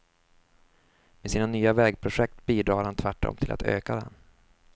Med sina nya vägprojekt bidrar han tvärtom till att öka den.